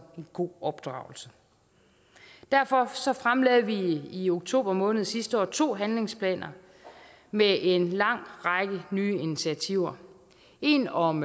god opdragelse derfor fremlagde vi i oktober måned sidste år to handlingsplaner med en lang række nye initiativer en om